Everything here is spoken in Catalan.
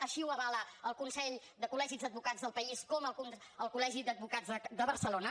així ho avala el consell de col·legis d’advocats del país com el col·legi d’advocats de barcelona